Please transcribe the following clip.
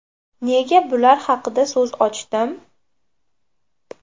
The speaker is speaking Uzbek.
Nega bular haqida so‘z ochdim?